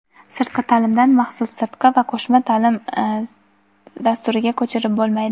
Sirtqi taʼlimdan maxsus sirtqi va qo‘shma taʼlim dasturiga ko‘chirib bo‘lmaydi.